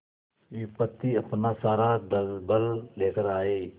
विपत्ति अपना सारा दलबल लेकर आए